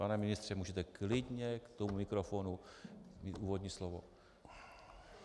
Pane ministře, můžete klidně k tomu mikrofonu mít úvodní slovo.